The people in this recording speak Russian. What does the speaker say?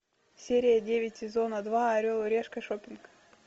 серия девять сезона два орел и решка шоппинг